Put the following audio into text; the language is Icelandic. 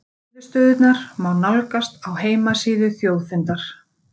Niðurstöðurnar má nálgast á heimasíðu Þjóðfundar